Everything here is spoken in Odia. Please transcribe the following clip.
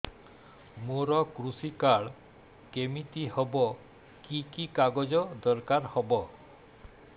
ମୋର କୃଷି କାର୍ଡ କିମିତି ହବ କି କି କାଗଜ ଦରକାର ହବ